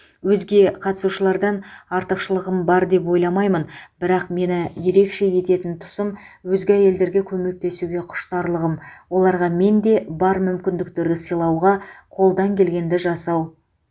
өзге қатысушылардан артықшылығым бар деп ойламаймын бірақ мені ерекше ететін тұсым өзге әйелдерге көмектесуге құштарлығым оларға менде бар мүмкіндіктерді сыйлауға қолдан келгенді жасау